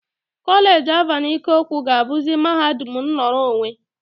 Kolej Alvan Ikoku ga-abuzi mahadum nnọrọ onwe.